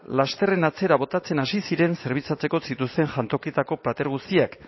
lasterren atzera botatzen hasi ziren zerbitzatzeko zituzten jantokietako plater guztiak